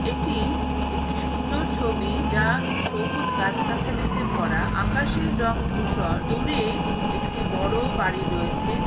এটি একটি সুন্দর ছবি যা সবুজ গাছ-গাছালিতে ভরা। আকাশের রং ধূসর। দূরে একটি বড়ো বাড়ি রয়েছে।